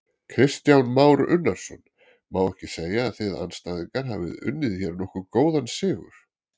Kristján Már Unnarsson: Má ekki segja að þið andstæðingar hafi unnið hér nokkuð góðan sigur?